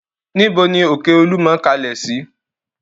Níbo ni òkè Olúmọ kalẹ̀ sí?